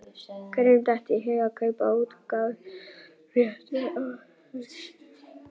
Hverjum datt í hug að kaupa útgáfuréttinn að þessu?